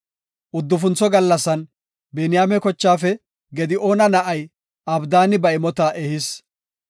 Uddufuntho gallasan Biniyaame kochaafe Gida7oona na7ay Abdaani ba imota ehis.